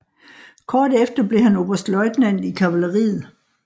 Kort efter blev han oberstløjtnant i kavaleriet